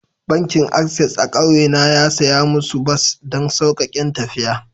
Bankin access a'kauye na ya siya musu bas don saukaken tafiya.